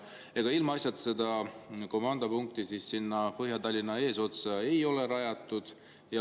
Ega seda komandopunkti sinna Põhja-Tallinnasse ole ilmaasjata rajatud.